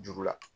Juru la